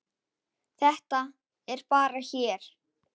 Þetta er bara hér.